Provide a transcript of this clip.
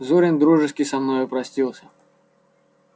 зурин дружески со мною простился